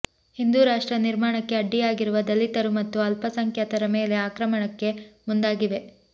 ಹಿಂದೂರಾಷ್ಟ್ರ ನಿರ್ಮಾಣಕ್ಕೆ ಅಡ್ಡಿಯಾಗಿರುವ ದಲಿತರು ಮತ್ತು ಅಲ್ಪಸಂಖ್ಯಾತರ ಮೇಲೆ ಆಕ್ರಮಣಕ್ಕೆ ಮುಂದಾಗಿವೆ